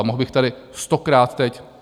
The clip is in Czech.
A mohl bych tady stokrát teď...